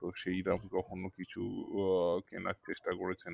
তো সেইরম কখন কিছু আহ কেনার চেষ্টা করেছেন?